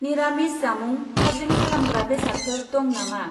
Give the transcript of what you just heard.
निरामिस जामुं, थाजिम खालामग्रा बेसादफोर दं नामा?